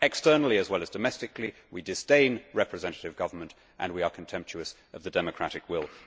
Externally, as well as domestically, we disdain representative government and we are contemptuous of the democratic will.